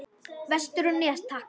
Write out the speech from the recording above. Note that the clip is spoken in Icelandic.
Vestur á Nes, takk!